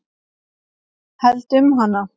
Held um hana.